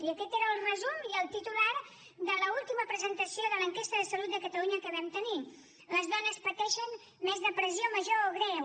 i aquest era el resum i el titular de l’última presentació de l’enquesta de salut de catalunya que vam tenir les dones pateixen més depressió major o greu